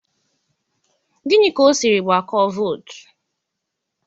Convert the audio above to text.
Gini ka o siri gbakọọ votu?